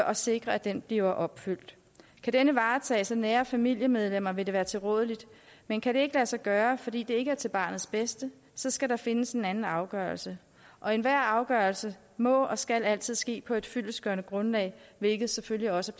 at sikre at den bliver opfyldt kan den varetages af nære familiemedlemmer vil det være tilrådeligt men kan det ikke lade sig gøre fordi det ikke er til barnets bedste så skal der findes en anden afgørelse og enhver afgørelse må og skal altid ske på et fyldestgørende grundlag hvilket selvfølgelig også